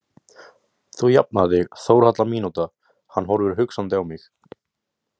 „Þú jafnar þig, Þórhalla mínúta“ Hann horfir hugsandi á mig.